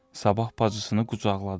Sabah bacısını qucaqladı.